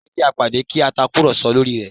Jẹ́ kí a pàdé kí a tàkùrọ̀sọ lórí ẹ̀